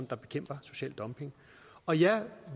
der bekæmper social dumping og ja